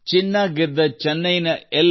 ಚಿನ್ನ ಗೆದ್ದ ಎಲ್